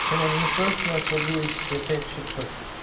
чем он не просто начал глючить и опять что-то